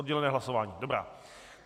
Oddělené hlasování, dobrá.